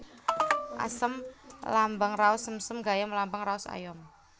Asem lambang raos sengsem Gayam lambang raos ayom